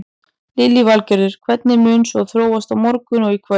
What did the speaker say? Lillý Valgerður: Hvernig mun svo þróast á morgun og í kvöld?